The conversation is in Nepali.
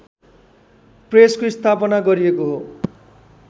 प्रेसको स्थापना गरिएको हो